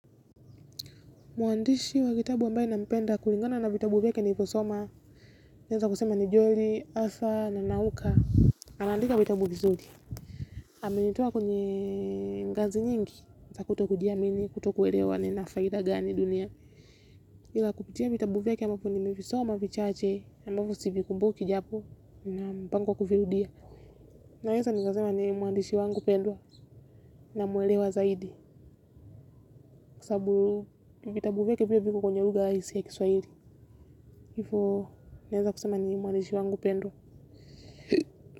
Muandishi wa kitabu ambaye nampenda kulingana na vitabu vyake nilivyo soma. Naeza kusema ni Joeli, Asa na Nauka. Anandika vitabu vizuri. Amenitoa kwenye ngazi nyingi. Za kuto kujiamini, kuto kuelewa nina faida gani dunia. Ila kupitia vitabu vyake ambavyo nimevisoma vichache ambavyo sivikumbuki japo nina mpango wa kuvirudia. Naeza nikasema ni muandishi wangu pendwa namuelewa zaidi. Kwa sababu vitabu vyake pia viko kwenye lugha halisi ya kiswahili. Hivo, naeza kusema ni mwandishi wangu pendwa.